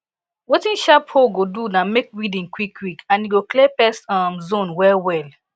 wetin sharp hoe go do na make weeding quick quick and e go clear pest um zone well well